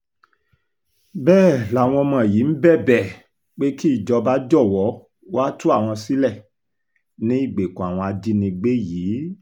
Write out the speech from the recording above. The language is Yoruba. bẹ́ẹ̀ làwọn ọmọ yìí ń bẹ̀bẹ̀ pé kí ìjọba jọ̀wọ́ wàá tú àwọn sílẹ̀ ní ìgbèkùn àwọn ajínigbé yìí